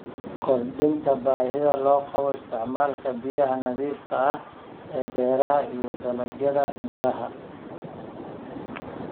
Kordhinta baahida loo qabo isticmaalka biyaha nadiifka ah ee beeraha iyo dalagyada miraha.